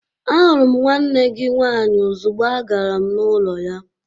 Ahụrụ m nwanne gị nwaanyị ozugbo agara m n'ụlọ ya.